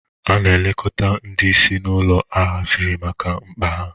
A na-elekọta ndị ìsì n'ụlọ a haziri maka mkpa ha.